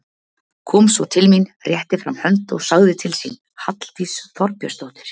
Kom svo til mín, rétti fram hönd og sagði til sín, Halldís Þorbjörnsdóttir.